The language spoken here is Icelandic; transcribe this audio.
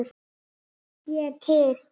Ég er til.